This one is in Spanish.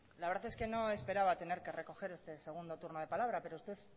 la verdad es que no esperaba tener que recoger este segundo turno de palabra pero usted